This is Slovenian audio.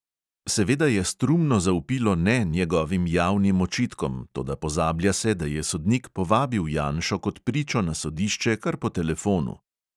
Seveda je strumno zavpilo ne njegovim javnim očitkom, toda pozablja se, da je sodnik povabil janšo kot pričo na sodišče kar po telefonu.